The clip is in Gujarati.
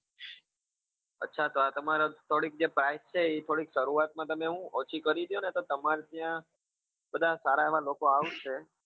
અચ્છા તો આ તમારા થોડીક જે price છે એ થોડીક શરૂઆત માં તમે શું થોડીક ઓછી કરી દયો ને તો તમારે ત્યાં બધા સારા એવા લોકો આવશે